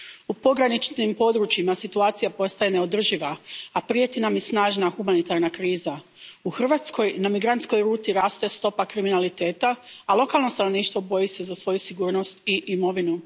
U pograničnim područjima situacija postaje neodrživa, a prijeti nam i snažna humanitarna kriza. U Hrvatskoj na migrantskoj ruti raste stopa kriminaliteta, a lokalno stanovništvo boji se za svoju sigurnost i imovinu.